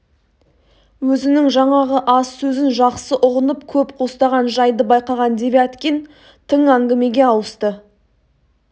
өзінің жаңағы аз сөзін жақсы ұғынып көп қостаған жайды байқаған девяткин тың әңгімеге ауысты